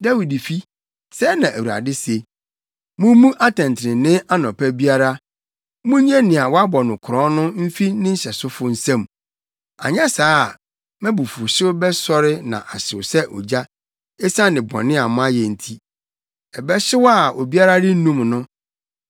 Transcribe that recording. Dawidfi, sɛɛ na Awurade se: “ ‘Mummu atɛntrenee anɔpa biara; munnye nea wɔabɔ no korɔn no mfi ne nhyɛsofo nsam, anyɛ saa a, mʼabufuwhyew bɛsɔre na ahyew sɛ ogya esiane bɔne a moayɛ nti, ɛbɛhyew a obiara rennum no.